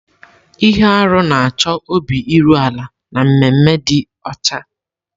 Ihe arụ na-achọ obi iru ala na ememe ịdị ọcha.